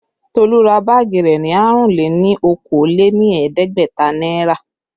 Tolu ra báàgì rẹ ní àrún-lé-ní-okòó-lé-ní-ẹ̀ẹ́dẹ́gbẹ̀ta náírà